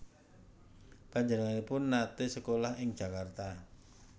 Panjenenganipun naté sekolah ing Jakarta